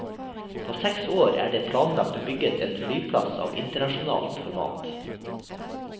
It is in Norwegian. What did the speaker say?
På seks år et det planlagt og bygget en flyplass av internasjonalt format.